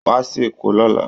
Wá sí Èkó lọ́la